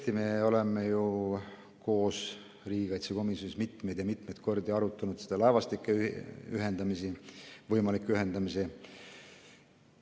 Tõesti, me oleme ju koos riigikaitsekomisjonis mitmeid ja mitmeid kordi laevastike võimalikke ühendamisi arutanud.